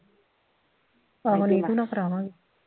ਆਹੋ ਨੀਤੂ ਨਾਲ ਕਰਾਵਾਂਗੀ